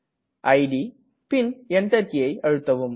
it பின் Enter கீயை அழுத்தவும்